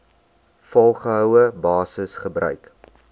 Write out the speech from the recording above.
volgehoue basis gebruik